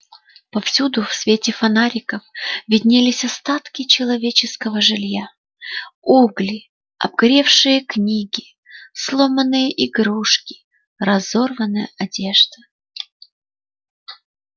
повсюду в свете фонариков виднелись остатки человеческого жилья угли обгоревшие книги сломанные игрушки разорванная одежда